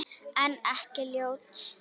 En ekki ljót.